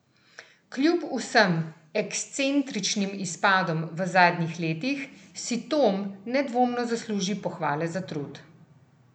Kljub vsem ekscentričnim izpadom v zadnjih letih, si Tom nedvomno zasluži pohvale za trud!